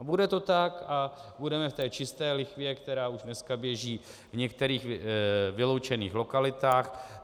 A bude to tak a budeme v té čisté lichvě, která už dneska běží v některých vyloučených lokalitách.